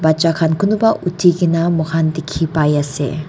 bachakhan kunba uthikena moikhan dikhi pai ase.